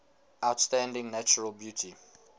outstanding natural beauty